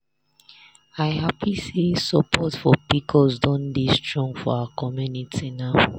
i happy say support for pcos don dey strong for our community now.